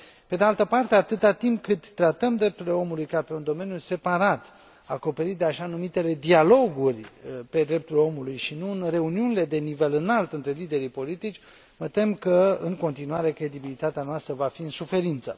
Pe de altă parte, atâta timp cât tratăm drepturile omului ca pe un domeniu separat, acoperit de așa numitele dialoguri pe drepturile omului și nu în reuniunile la nivel înalt între liderii politici, mă tem că, în continuare, credibilitatea noastră va fi în suferință.